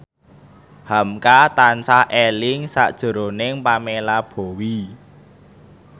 hamka tansah eling sakjroning Pamela Bowie